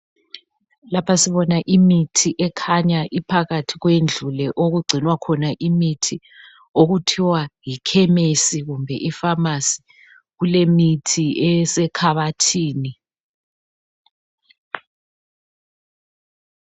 Lapha sibona imithi ekhanya iphakathi kwendlu okugcinwa khona imithi okuthiwa yiKhemisi kumbe iPhamacy. Kulemithi esekhabathini.